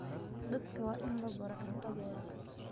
Dadka waa in la baro cuntadooda.